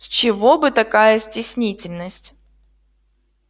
с чего бы такая стеснительность